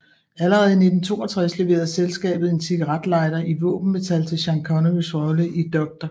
Allerede i 1962 leverede selskabet en cigaretlighter i våbenmetal til Sean Connerys rolle i Dr